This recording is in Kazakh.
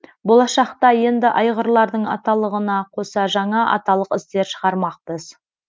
болашақта енді айғырлардың аталығына қоса жаңа аталық іздер шығармақпыз